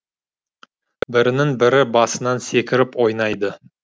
бірінің бірі басынан секіріп ойнайды